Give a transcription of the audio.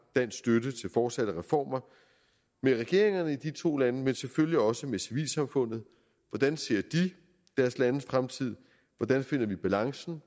dansk støtte til fortsatte reformer med regeringerne i to lande men selvfølgelig også med civilsamfundet hvordan ser de deres landes fremtid hvordan finder vi balancen